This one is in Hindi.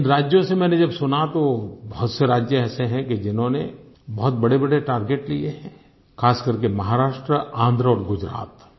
इन राज्यों से मैंने जब सुना तो बहुत से राज्य ऐसे हैं कि जिन्होंने बहुत बड़ेबड़े टार्गेट लिए हैं खास करके महाराष्ट्र आन्ध्र और गुजरात